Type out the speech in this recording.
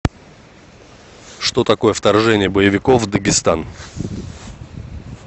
что такое вторжение боевиков в дагестан